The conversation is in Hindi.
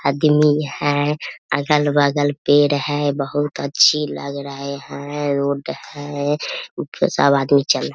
अदमी है अगल-बगल पेड़ है बहुत अच्छी लग रहे है रोड है ऊपर सब आदमी चल --